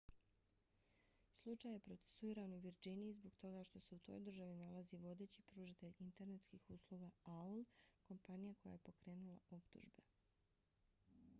slučaj je procesuiran u virdžiniji zbog toga što se u toj državi nalazi vodeći pružatelj internetskih usluga aol kompanija koja je pokrenula optužbe